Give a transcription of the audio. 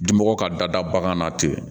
Dimɔgɔ ka dada bagan na tɛ